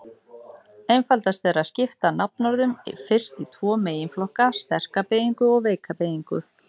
Einfaldast er að skipta nafnorðum fyrst í tvo meginflokka: sterka beygingu og veika beygingu.